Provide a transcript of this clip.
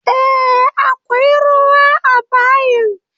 Eh akwai ruwa a bayin